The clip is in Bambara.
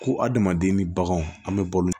Ko adamaden ni baganw an bɛ balo